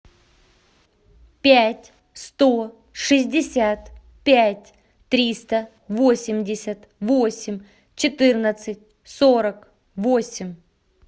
пять сто шестьдесят пять триста восемьдесят восемь четырнадцать сорок восемь